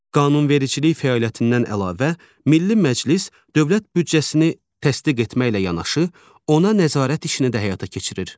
Qanunvericilik fəaliyyətindən əlavə Milli Məclis dövlət büdcəsini təsdiq etməklə yanaşı, ona nəzarət işini də həyata keçirir.